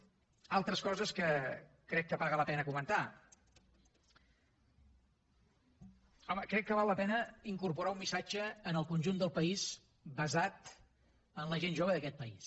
altres coses que crec que paga la pena comentar home crec que val la pena incorporar un missatge en el conjunt del país basat en la gent jove d’aquest país